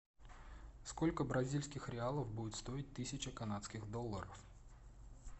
сколько бразильских реалов будет стоить тысяча канадских долларов